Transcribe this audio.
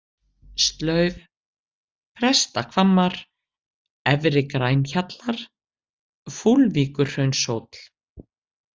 Slauf, Prestahvammar, Efri-Grænhjallar, Fúlvíkurhraunshóll